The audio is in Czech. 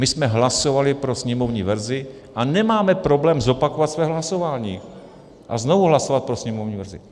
My jsme hlasovali pro sněmovní verzi a nemáme problém zopakovat své hlasování a znovu hlasovat pro sněmovní verzi.